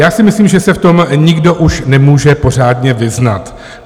Já si myslím, že se v tom nikdo už nemůže pořádně vyznat.